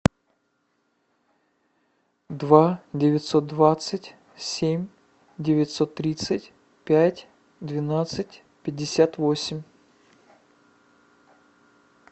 два девятьсот двадцать семь девятьсот тридцать пять двенадцать пятьдесят восемь